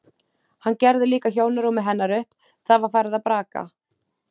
Hann gerði líka hjónarúmið hennar upp, það var farið að braka.